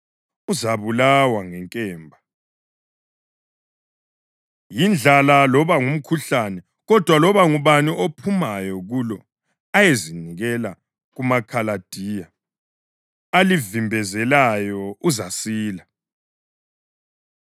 Sengiqonde ukwenza okubi kulelidolobho hatshi okuhle, kutsho uThixo. Lizanikelwa ezandleni zenkosi yaseBhabhiloni, ezalitshabalalisa ngomlilo.’